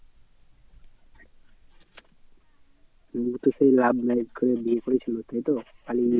ও তো সেই love marriage করে বিয়ে করেছিল তাই তো পালিয়ে গিয়ে?